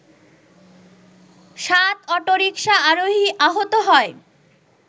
সাত অটোরিকশা আরোহী আহত হয়